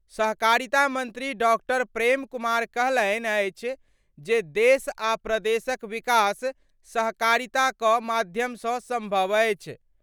सहकारिता मंत्री डॉ. प्रेम कुमार कहलनि अछि जे देश आ प्रदेशक विकास सहकारिता क माध्यम स संभव अछि।